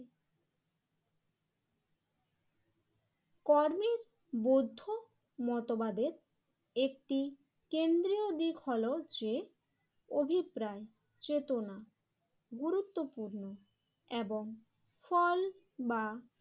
কর্মী বৌদ্ধ মতবাদের একটি কেন্দ্রীয় দিক হলো যে অভিপ্রায় চেতনা গুরুত্বপূর্ণ এবং ফল বা